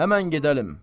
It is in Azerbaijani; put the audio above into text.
Həman gedəlim.